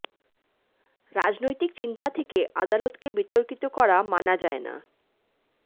রাজনৈতিক চিন্তা থেকে আদালতকে বিতর্কিত করা মানা যায় না